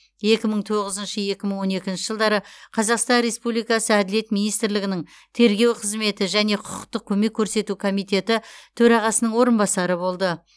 екі мың тоғызыншы екі мың он екінші жылдары қазақстан республикасы әділет министрлігінің тергеу қызметі және құқықтық көмек көрсету комитеті төрағасының орынбасары болды